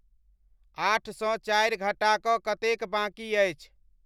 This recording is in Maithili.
आठसँ चारि घटा कऽ कतेक बाँकी अछि